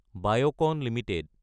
Biocon Ltd